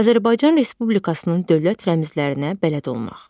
Azərbaycan Respublikasının dövlət rəmzlərinə bələd olmaq.